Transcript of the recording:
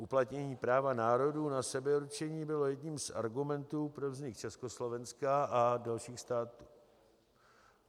Uplatnění práva národů na sebeurčení bylo jedním z argumentů pro vznik Československa a dalších států.